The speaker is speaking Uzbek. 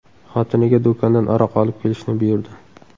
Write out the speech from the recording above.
xotiniga do‘kondan aroq olib kelishni buyurdi.